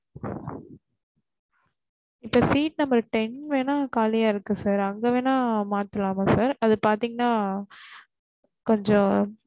இப்ப seat number ten வேணா கலியா இருக்கு sir அங்க வேணா மாத்தலா sir அது பாத்தேன்னா கொஞ்சம்